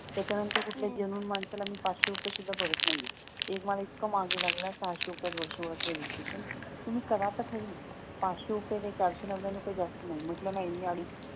त्याच्या नंतर मी कुठल्या जेन्यून माणसाला मी पाचशे रुपये सुद्धा बरत नाहीये एक मला इतका मागे लागला सहाशे रुपयात वर्षभराचं रजिस्ट्रेशन तुम्ही करा तर खरी पाचशे रुपये चारशे नव्याणव काही जास्त नाही म्हंटल नाही मी अडीचशे